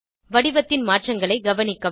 வடிவத்தின் மாற்றங்களை கவனிக்கவும்